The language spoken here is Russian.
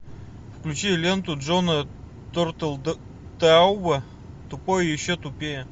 включи ленту джона тертелтауба тупой и еще тупее